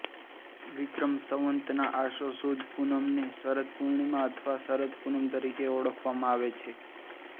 વિક્રમ સંવત નાં આસો સુદ પૂનમને શરદ પૂર્ણિમા અથવા શરદ પૂનમ તરીકે ઓળખવામાં આવે છે